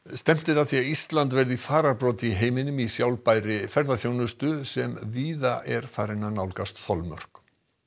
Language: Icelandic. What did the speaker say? stefnt er að því að Ísland verði í fararbroddi í heiminum í sjálfbærri ferðaþjónustu sem víða er farin að nálgast þolmörk